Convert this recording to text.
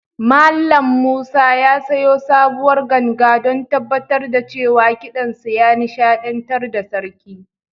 Mallam Musa ya sayo sabuwar ganga don tabbatar da cewa kiɗansa ya nishaɗantar da sarki.